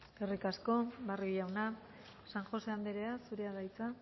eskerrik asko barrio jauna san josé andrea zurea da hitza